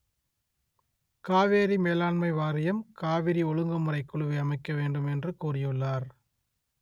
காவிரி மேலாண்மை வாரியம் காவிரி ஒழுங்குமுறை குழுவை அமைக்க வேண்டும் என்று கூறியுள்ளார்